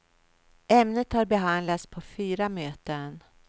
Ämnet har behandlats på fyra möten.